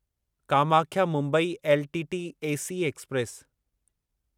Kamakhya Mumbai LTT AC express